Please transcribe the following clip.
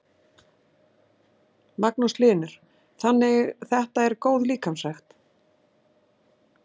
Magnús Hlynur: Þannig þetta er góð líkamsrækt?